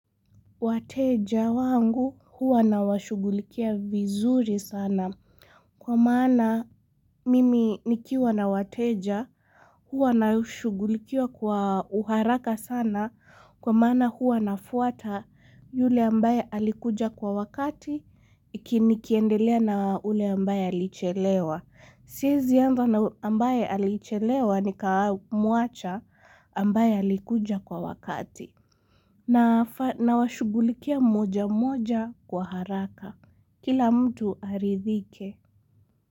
Wateja wangu huwa na washugulikia vizuri sana kwa maana mimi nikiwa na wateja huwa na washugulikia kwa uharaka sana kwa maana huwa na fuata yule ambaye alikuja kwa wakati ikini kiendelea na ule ambaye alichelewa. Siezi anza na ambaye alichelewa ni kamuacha ambaye alikuja kwa wakati. Na washugulikia moja moja kwa haraka. Kila mtu aridhike.